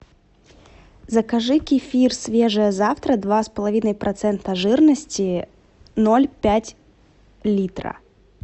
закажи кефир свежее завтра два с половиной процента жирности ноль пять литра